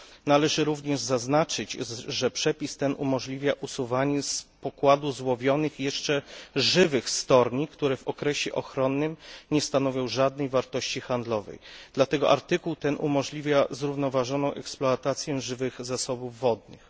Należy również zaznaczyć, że przepis ten umożliwia usuwanie z pokładu złowionych jeszcze żywych storni, które w okresie ochronnym nie stanowią żadnej wartości handlowej. Dlatego artykuł ten umożliwia zrównoważoną eksploatację żywych zasobów wodnych.